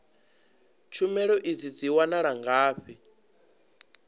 tshumelo idzi dzi wanala ngafhi